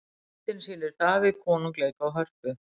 myndin sýnir davíð konung leika á hörpu